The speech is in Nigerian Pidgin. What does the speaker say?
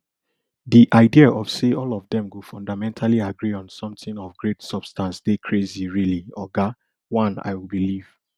di idea of say all of dem go fundamentally agree on something of great substance dey crazy really oga oneill believe